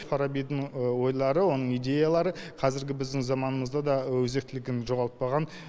фарабидің ойлары оның идеялары қазіргі біздің заманымызда да өзектілігін жоғалтпаған